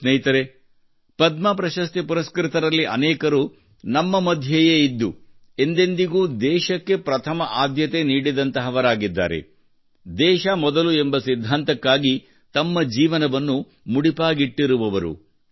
ಸ್ನೇಹಿತರೇ ಪದ್ಮ ಪ್ರಶಸ್ತಿ ಪರಸ್ಕೃತರಲ್ಲಿ ಅನೇಕರು ನಮ್ಮ ಮಧ್ಯೆಯೇ ಇದ್ದು ಎಂದೆಂದಿಗೂ ದೇಶಕ್ಕೆ ಪ್ರಥಮ ಆದ್ಯತೆ ನೀಡಿದಂತಹವರಾಗಿದ್ದಾರೆ ದೇಶ ಮೊದಲು ಎಂಬ ಸಿದ್ಧಾಂತಕ್ಕಾಗಿ ತಮ್ಮ ಜೀವನವನ್ನು ಮುಡಿಪಾಗಿಟ್ಟರು